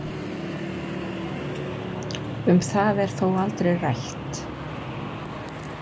Um það er þó aldrei rætt.